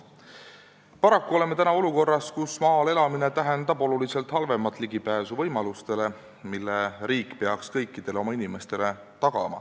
Paraku oleme olukorras, kus maal elamine tähendab oluliselt halvemat ligipääsu võimalustele, mille riik peaks tagama kõikidele oma inimestele.